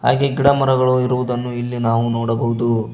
ಹಾಗೆ ಗಿಡ ಮರಗಳು ಇರುವುದನ್ನು ಇಲ್ಲಿ ನಾವು ನೋಡಬಹುದು.